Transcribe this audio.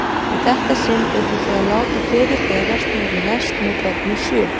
Í þetta sinn urðu þau að láta fyrir berast niðri í lest með börnin sjö.